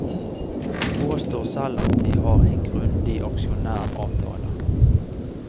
De påstår selv at de har en grundig aksjonæravtale.